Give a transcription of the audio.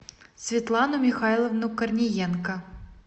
светлану михайловну корниенко